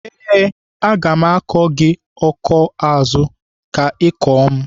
Ee, aga m akọ gị akọ n'azụ ka Ị kọọ m.